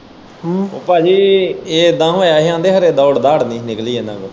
ਹਮ ਭਾਜੀ ਇਹ ਏਦਾਂ ਹੋਇਆ ਸੀ ਕਿ ਦੌੜ ਦਾੜ ਨਹੀਂ ਨਿਕਲੀ ਇਹਨਾਂ ਕੋਲੋਂ।